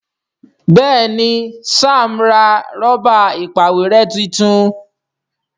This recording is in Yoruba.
Béèni Sam ra Rọ́bà ìpàwérẹ́ títún.